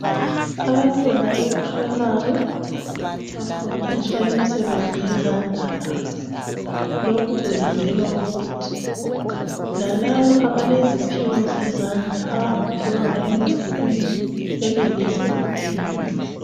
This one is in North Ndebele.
Abantwana be primary bafundiswa imisebenzi yezandla labo. Lokhu kwenzelwa ukuthi lalabo abaleziphiwo zezandla abangaphiwanga emabhukwini benelise ukuphila.